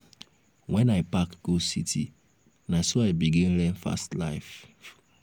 wen i pack go city na so i begin learn fast life.